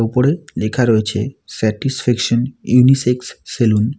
ওপরে লেখা রয়েছে স্যাটিসফেকশন ইউনিসেক্স সেলুন ।